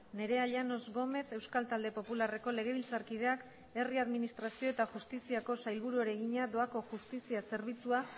nerea llanos gómez euskal talde popularreko legebiltzarkideak herri administrazio eta justiziako sailburuari egina doako justizia zerbitzua